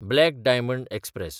black diamond express